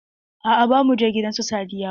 Aa ba mu je gidan su Sadiya ba.